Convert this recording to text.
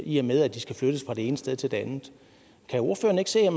i og med at de skal flyttes fra det ene sted til det andet kan ordføreren ikke se